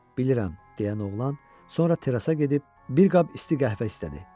Bilirəm, - deyən oğlan, sonra terasaya gedib bir qab isti qəhvə istədi.